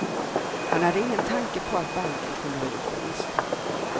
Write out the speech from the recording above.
Han hade ingen tanke på att banken kunde ha gjort ett misstag.